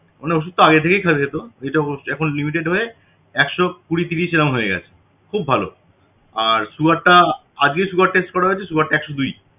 মানে ওষুধ তো আগে থেকেই খাওয়া যেত এখন limited হয়ে একশো কুড়ি তিরিশ এমন হয়ে গেছে খুব ভালো আর sugar টা আগে sugar test করা হয়েছে sygar টা একশো দুই